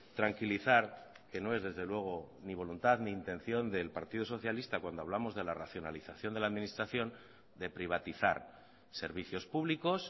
tranquilizar que no es desde luego ni voluntad ni intención del partido socialista cuando hablamos de la racionalización de la administración de privatizar servicios públicos